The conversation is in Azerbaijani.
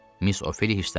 Miss Ofeliya hissləndi.